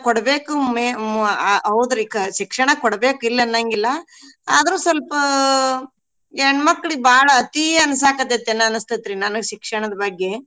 ಕೊಡ್ಬೇಕು ಮೆ~ ಮು~ ಅ ಆ ಔದ್ರಿ ಶಿಕ್ಷಣ ಕೊಡ್ಬೇಕು ಇಲ್ ಅನ್ನಂಗಿಲ್ಲಾ ಆದ್ರೂ ಸ್ವಲ್ಪ ಹೆಣ್ಮಕ್ಳಿಗ್ ಬಾಳ್ ಅತೀ ಅನ್ಸಾಕತೇತನ ಅನ್ನಸ್ತೇತಿ ನನ್ಗ್ ಶಿಕ್ಷಣದ್ ಬಗ್ಗೆ.